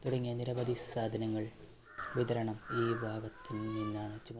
തുടങ്ങിയ നിരവധി സാധനങ്ങൾ വിതരണം ഈ ഭാഗത്ത് നിന്നാണ്.